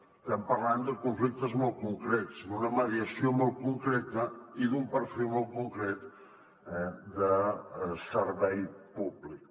estem parlant de conflictes molt concrets d’una mediació molt concreta i d’un perfil molt concret de servei públic